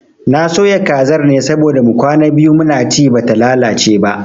Na soya kazar ne saboda mu kwana biyu muna ci bata lalace ba